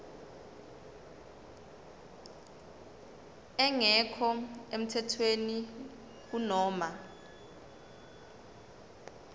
engekho emthethweni kunoma